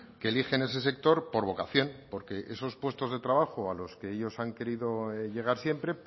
que eligen ese sector por vocación porque esos puestos de trabajo a los que ellos han querido llegar siempre